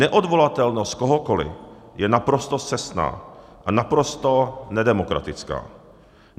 Neodvolatelnost kohokoliv je naprosto scestná a naprosto nedemokratická.